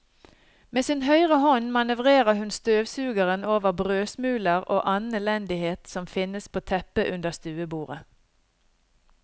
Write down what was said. Med sin høyre hånd manøvrerer hun støvsugeren over brødsmuler og annen elendighet som finnes på teppet under stuebordet.